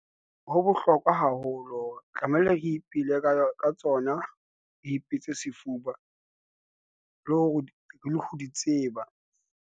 Ho bohlokwa haholo tlamehile re ipeile ka tsona re ipitse sefuba, le ho di tseba.